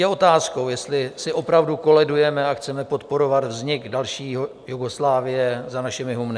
Je otázkou, jestli si opravdu koledujeme a chceme podporovat vznik další Jugoslávie za našimi humny.